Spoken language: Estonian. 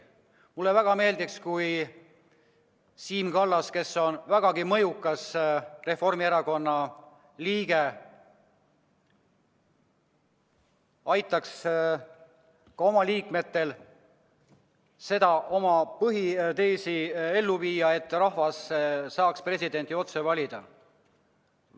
Mulle väga meeldiks, kui Siim Kallas, kes on vägagi mõjukas Reformierakonna liige, aitaks oma erakonna liikmetel ellu viia tema seisukohta, et rahvas peaks saama presidenti otse valida.